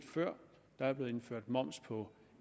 før der er blevet indført moms på